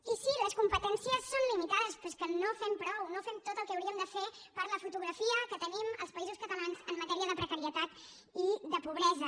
i sí les competències són limitades però és que no fem prou no fem tot el que hauríem de fer per la fotografia que tenim els països catalans en matèria de precarietat i de pobresa